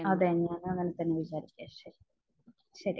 അത് തന്നെ. ശരി. ശരി.